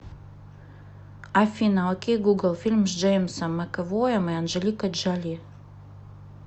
афина окей гугл фильм с джеймсом макэвоем и анжеликой джоли